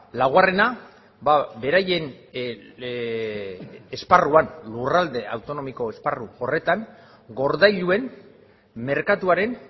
laugarrena beraien esparruan lurralde autonomiko esparru horretan gordailuen merkatuaren